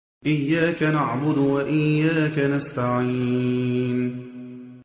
إِيَّاكَ نَعْبُدُ وَإِيَّاكَ نَسْتَعِينُ